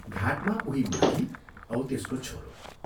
घाटमा उही माझी औ त्यसको छोरो।